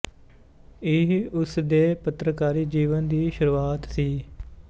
ਇਹ ਉਸ ਦੇ ਪੱਤਰਕਾਰੀ ਜੀਵਨ ਦੀ ਸ਼ੁਰੂਆਤ ਸੀ